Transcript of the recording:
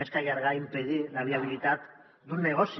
més que allargar impedir la viabilitat d’un negoci